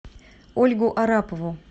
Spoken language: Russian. ольгу арапову